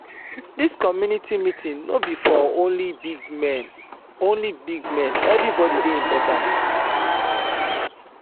dis community meeting no be for only big men only big men everybody dey important.